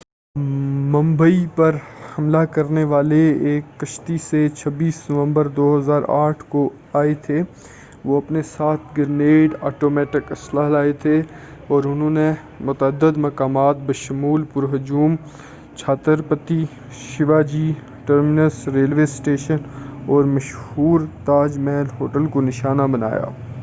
ممبئی پر حملہ کرنے والے ایک کشتی سے 26 نومبر 2008ء کو آئے تھے وہ اپنے ساتھ گرینیڈ آٹومیٹک اسلحہ لائے تھے اور انہوں نے متعدد مقامات بشمول پر ہجوم Chhatrapati Shivaji terminus railway station اور مشہور تاج محل ہوٹل کو نشانہ بنایا